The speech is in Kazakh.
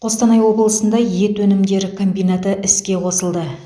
қостанай облысында ет өнімдері комбинаты іске қосылды